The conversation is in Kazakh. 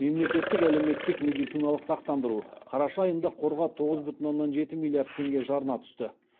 мемлекеттік әлеуметтік медициналық сақтандыру қараша айында қорға тоғыз бүтін оннан жеті миллиард теңге жарна түсті